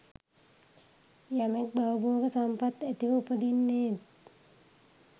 යමෙක් භවභෝග සම්පත් ඇතිව උපදින්නේත්